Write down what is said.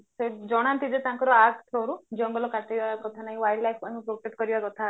ଜଣାନ୍ତି ଯେ ତାଙ୍କର act ଜଙ୍ଗଲ କାଟିବା କଥା ନେଇକି ମାନଙ୍କୁ protect କରିବା କଥା